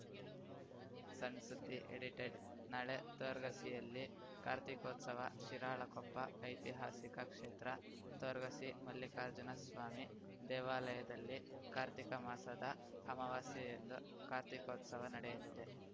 ಸಣ್‌ ಸುದ್ದಿ ಎಡಿಟೆಡ್‌ ನಾಳೆ ತೊರ್ಗಸಿಯಲ್ಲಿ ಕಾರ್ತೀಕೋತ್ಸವ ಶಿರಾಳಕೊಪ್ಪ ಐತಿಹಾಸಿಕ ಕ್ಷೇತ್ರ ತೊರ್ಗಸಿ ಮಲ್ಲಿಕಾರ್ಜುನ ಸ್ವಾಮಿ ದೇವಾಲಯದಲ್ಲಿ ಕಾರ್ತೀಕ ಮಾಸದ ಅಮವಾಸ್ಯೆಯಂದು ಕಾರ್ತೀಕೋತ್ಸವ ನಡೆಯಲಿದೆ